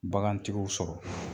Bagantigiw sɔrɔ